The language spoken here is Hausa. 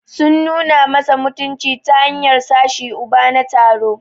Sun nuna masa mutunci ta hanyar sashi Uba na taro.